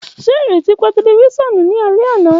Ṣe ireti pa tẹlifisiọnu ni alẹ ana?